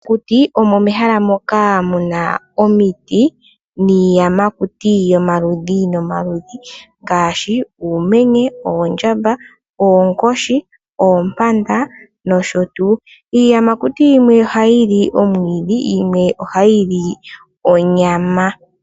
Mokuti omo mehala moka mu na omiti niiyamakuti yomaludhi ga yooloka ngaashi uumenye, oondjamba, oonkoshi nayilwe. Iiyamakuti yimwe ohayi li omwiidhi nayimwe ohayi li onyama.